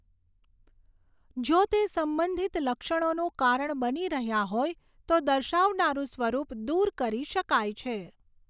જો તે સંબંધિત લક્ષણોનું કારણ બની રહ્યા હોય તો દર્શાવનારુ સ્વરૂપ દૂર કરી શકાય છે.